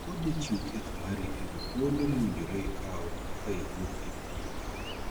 Wuo kod jachiw thieth mari e wii thuolo mowinjore ikaw eka iduog e pim.